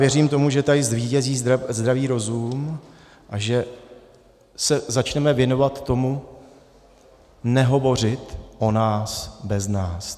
Věřím tomu, že tady zvítězí zdravý rozum a že se začneme věnovat tomu nehovořit o nás bez nás.